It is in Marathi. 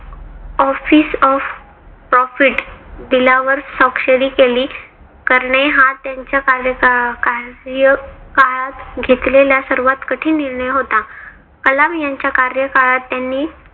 office of profit bill वर स्वाक्षरी केली करणे. हा त्यांच्या कार्यकाळात घेतलेला सर्वात कठीण निर्णय होता. कलाम यांच्या कार्यकाळात त्यांनी